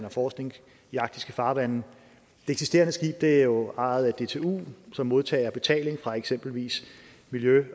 og forskning i arktiske farvande det eksisterende skib er jo ejet af dtu som modtager betaling fra eksempelvis miljø